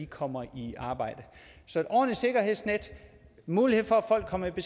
kommer i arbejde så et ordentligt sikkerhedsnet mulighed for at folk kommer i